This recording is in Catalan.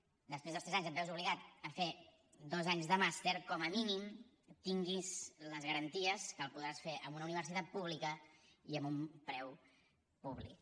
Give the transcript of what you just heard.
si després dels tres anys et veus obligat a fer dos anys de màster com a mínim que tinguis les garanties que el podràs fer en una universitat pública i amb un preu públic